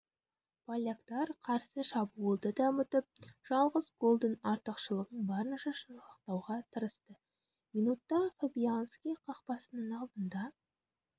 поляктар қарсы шабуылды да ұмытып жалғыз голдың артықшылығын барынша сақтауға тырысты минутта фабианьски қақпасының алдында